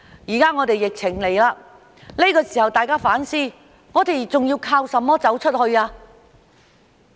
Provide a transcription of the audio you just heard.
現在疫情來了，這個時候大家反思，我們還能靠甚麼走出去？